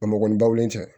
Bamakɔ ni bawulen tɛ